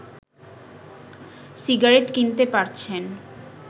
cigarette কিনতে পারছেন